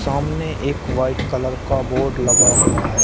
सामने एक white colour का बोर्ड लगा हुआ है।